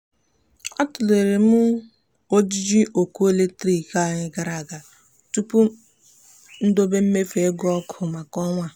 a tụlere m ojiji ọkụ eletrik anyị gara aga tupu m dobe mmefu ego ọkụ maka ọnwa a.